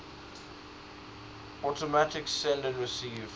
automatic send receive